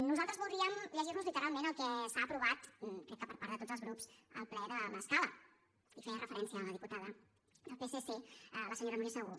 nosaltres voldríem llegir los literalment el que s’ha aprovat crec que per part de tots els grups al ple de l’escala hi feia referència la diputada del psc la senyora núria segú